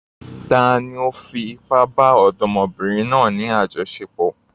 Tani ó fi ipá bá ọ̀dọ́mọbìnrin náà ní àjọṣepọ̀?